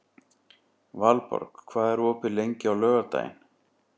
Valborg, hvað er opið lengi á laugardaginn?